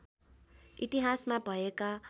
इतिहासमा भएका